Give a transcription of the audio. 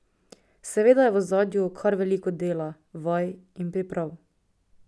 Seveda je v ozadju kar veliko dela, vaj in priprav.